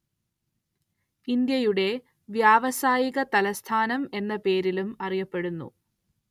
ഇന്ത്യയുടെ വ്യാവസായിക തലസ്ഥാനം എന്ന പേരിലും അറിയപ്പെടുന്നു